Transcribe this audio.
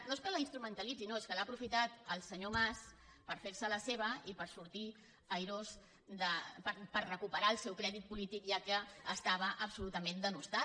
no és que la instru·mentalitzi no és que l’ha aprofitat el senyor mas per fer·se·la seva i per sortir airós per recuperar el seu crèdit polític ja que estava absolutament denostat